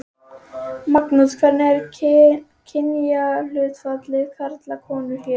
Magnús: Hvernig er kynjahlutfallið karlar konur hér?